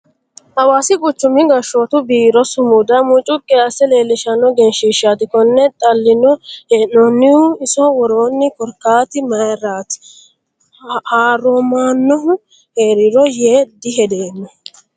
Hawaasi quchumi gashshotu biiro sumuda mucuqi asse leelishshano egenshiishati kone xaline hee'nonihu iso woroni korkaati mayratiro haaromanohu heerano yee dihedeemmo.